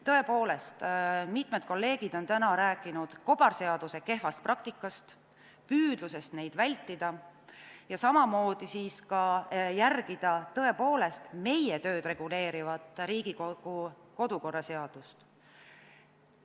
Tõepoolest, mitmed kolleegid on täna rääkinud kobarseaduste kehvast praktikast, püüdlusest neid vältida ja järgida meie tööd reguleerivat Riigikogu kodukorra seadust.